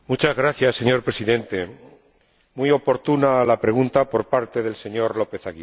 Señor Presidente, muy oportuna la pregunta por parte del señor López Aguilar.